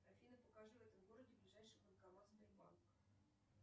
афина покажи в этом городе ближайший банкомат сбербанка